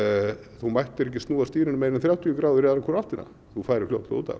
þú mættir ekki snúa stýrinu meira en þrjátíu gráður í aðra hvora áttina þú færir fljótt út af